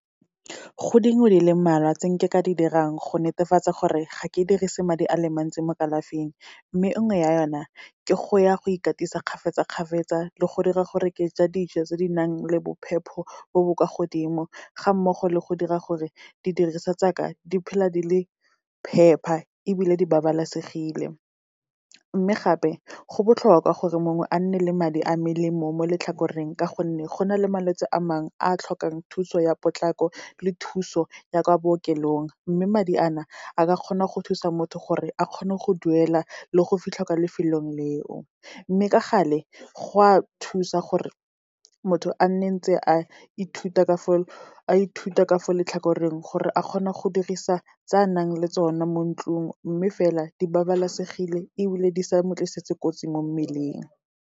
Go dingwe di le mmalwa tse nke ka di dirang go netefatsa gore ga ke dirise madi a le mantsi mo kalafing. Mme nngwe ya yona, ke go ya go ikatisa kgafetsa-kgafetsa le go dira gore ke ja dijo tse di nang le bophepho bo bo kwa godimo, ga mmogo le go dira gore di diriswa tsaka, di phela di le phepa ebile di babalesegile. Mme gape, go botlhokwa gore mongwe a nne le madi a melemo mo letlhakoreng, ka gonne go na le malwetse a mangwe a tlhokang thuso ya potlako le thuso ya kwa bookelong, mme madi a na a ka kgona go thusa motho gore a kgone go duela le go fitlha kwa lefelong leo. Mme ka gale, go a thusa gore motho a nne ntse a ithuta ka fo letlhakoreng, gore a kgona go dirisa tsa nang le tsone mo ntlung, mme fela di babalesegile ebile di sa mo tlisitse kotsi mo mmeleng.